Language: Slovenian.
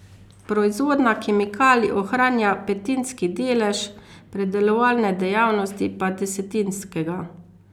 Proizvodnja kemikalij ohranja petinski delež, predelovalne dejavnosti pa desetinskega.